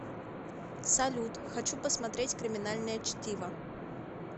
салют хочу посмотреть криминальное чтиво